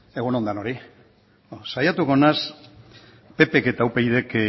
egun on denoi saiatuko naiz ppk eta upydk